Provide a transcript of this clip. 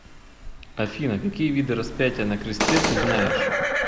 афина какие виды распятие на кресте ты знаешь